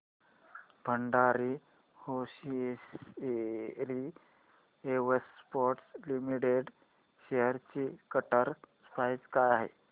Bhandari hosiery exports limited shares ची current price काय आहे